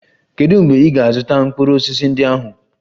Kedu mgbe ị ga-azụta mkpụrụ osisi ndị ahụ?